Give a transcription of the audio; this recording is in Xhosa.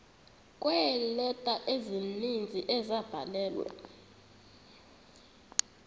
kweeleta ezininzi ezabhalelwa